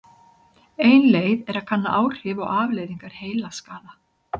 Ein leið er að kanna áhrif og afleiðingar heilaskaða.